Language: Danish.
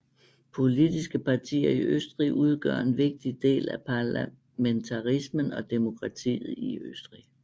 Politiske partier i Østrig udgør en vigtig del af parlamentarismen og demokratiet i Østrig